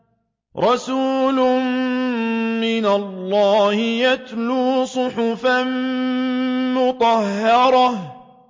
رَسُولٌ مِّنَ اللَّهِ يَتْلُو صُحُفًا مُّطَهَّرَةً